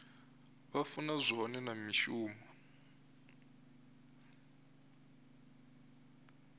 vha funa zwone na mishumo